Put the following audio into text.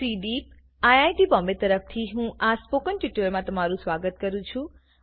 CDEEP IIT Bombay તરફથી હું આ સ્પોકન ટ્યુટોરીયલમાં તમારું સ્વાગત કરું છું